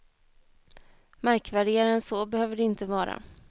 Märkvärdigare än så behöver det inte vara.